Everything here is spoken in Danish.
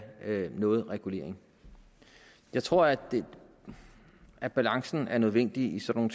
have nogen regulering jeg tror at at balancen er nødvendig i sådan